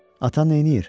Ata nəyir?